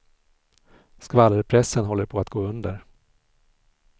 Skvallerpressen håller på att gå under.